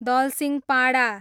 Dalsinghpada